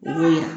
O ye